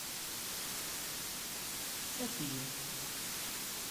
софию